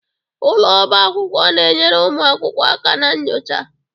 Ụlọ ọba akwụkwọ na-enyere ụmụ akwụkwọ aka na nyocha.